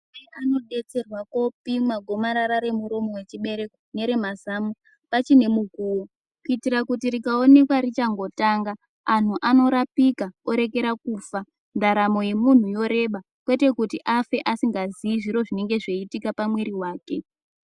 Anamai anodetserwa kopimwa gomarara remuromo wechibereko neremazamo machine mukuo kuitira kuti rikaonekwa richangotanga anhu anorapika oregera kufa ndaramo yemunhu yorereba kwete kuti afe asingazivi zviro zvinenge zveiitika pamwiri wake.